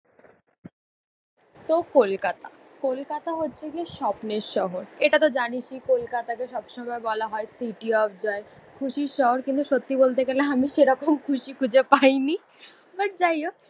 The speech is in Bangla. তো কলকাতা। কলকাতা হচ্ছে গিয়ে স্বপ্নের শহর, এটাতো জানিসই কোলকাতাকে সবসময় বলা হয় সিটি অফ জয়। খুশির শহর, কিন্তু সত্যি বলতে গেলে আমি সেরকম খুশি খুঁজে পায়নি, বাট যাই হোক।